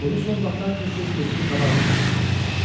Bunu son vaxtlar tez-tez gözünün qabağına da gətirirdi.